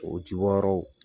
O ji bɔ yɔrɔw